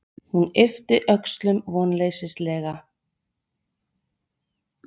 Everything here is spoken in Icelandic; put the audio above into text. Hún yppti öxlum vonleysislega.